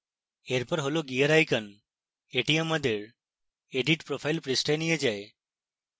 এরপর হল gear icon এটি আমাদের edit profile পৃষ্ঠায় নিয়ে যাবে